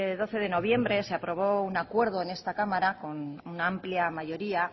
doce de noviembre se aprobó un acuerdo en esta cámara con una amplia mayoría